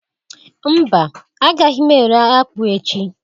mba agaghi m ere akpu echi?